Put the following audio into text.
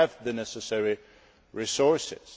Do we have the necessary resources?